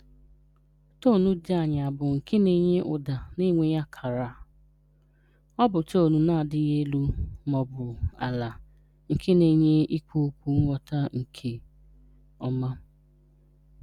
Tóń dị ànyà bụ nke na-enye ụda na-enweghị akara (̄). Ọ bụ tóń na-adịghị elu ma ọ bụ ala, nke na-enye inye okwu nghọta nke ọma.